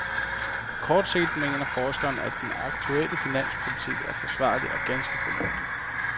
På kort sigt mener forskeren, at den aktuelle finanspolitik er forsvarlig og ganske fornuftig.